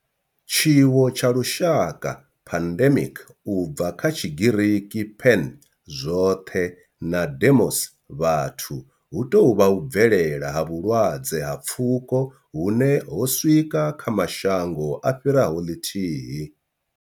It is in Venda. Tshiwo tsha lushaka pandemic, u bva kha Tshigiriki pan, zwoṱhe na demos, vhathu hu tou vha u bvelela ha vhulwadze ha pfuko hune ho swika kha mashango a fhiraho ḽithihi.